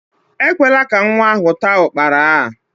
Ekwela ka nwa ahụ taa ukpara a!